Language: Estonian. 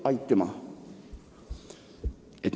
Aitüma!